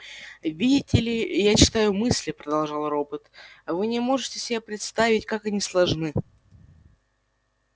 видите ли я читаю мысли продолжал робот а вы не можете себе представить как они сложны